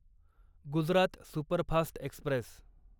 Gujarat superfast Express